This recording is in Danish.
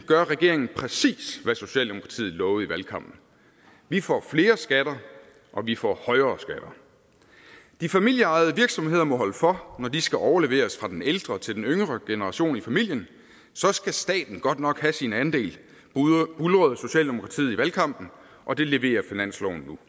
gør regeringen præcis hvad socialdemokratiet lovede i valgkampen vi får flere skatter og vi får højere skatter de familieejede virksomheder må holde for når de skal overleveres fra den ældre til den yngre generation i familien så skal staten godt nok have sin andel buldrede socialdemokratiet i valgkampen og det leverer finansloven nu